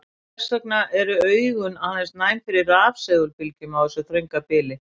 En hvers vegna eru augun aðeins næm fyrir rafsegulbylgjum á þessu þrönga bili?